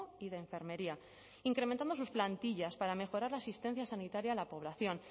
y de enfermería incrementando sus plantillas para mejorar la asistencia sanitaria a la población